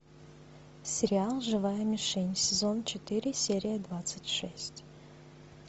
сериал живая мишень сезон четыре серия двадцать шесть